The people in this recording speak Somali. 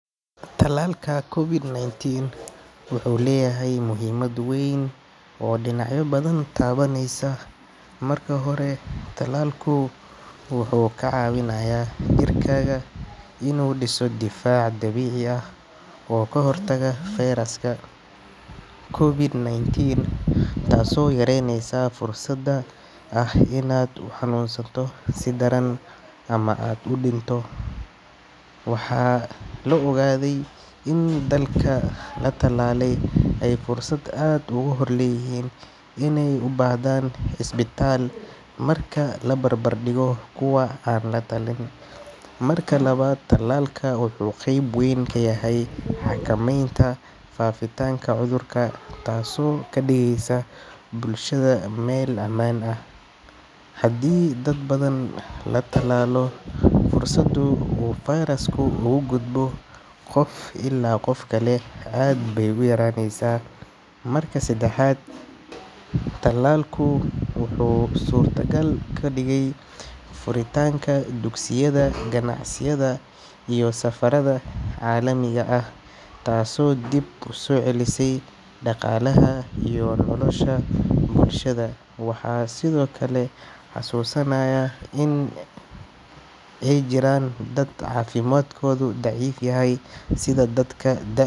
Talalka COVID-19 wuxuu leeyahay muhiimad weyn oo dhinacyo badan taabanaysa. Marka hore, talalku wuxuu kaa caawinayaa jirkaaga inuu dhiso difaac dabiici ah oo ka hortaga fayraska COVID-19, taasoo yareynaysa fursadda ah inaad u xanuunsato si daran ama aad u dhinto. Waxaa la ogaaday in dadka la talaalay ay fursad aad uga yar u leeyihiin inay u baahdaan cisbitaal marka la barbardhigo kuwa aan la tallaalin. Marka labaad, talalka wuxuu qeyb weyn ka yahay xakameynta faafitaanka cudurka, taasoo ka dhigaysa bulshada meel ammaan ah. Haddii dad badan la tallaalo, fursadda uu fayrasku ugu gudbo qof ilaa qof kale aad bay u yaraanaysaa. Marka saddexaad, talalku wuxuu suurtagal ka dhigay furitaanka dugsiyada, ganacsiyada iyo safarada caalamiga ah, taasoo dib u soo celisay dhaqaalaha iyo noloshii bulshada. Waxaa sidoo kale la xasuusanayaa in ay jiraan dad caafimaadkoodu daciif yahay sida dadka da’.